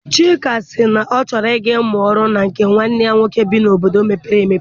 Chika sị na ọ chọrọ I ga mụọ ọrụ na nke nwanne ya nwoke bi n'obodo mepere emepe.